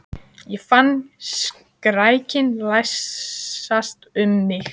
Ég fann skrekkinn læsast um mig.